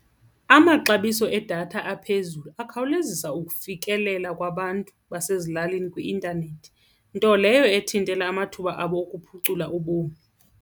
Amaxabiso edatha aphezulu akhawulezisa ukufikelela kwabantu basezilalini kwi-intanethi, nto leyo ethintela amathuba abo okuphucula ubomi.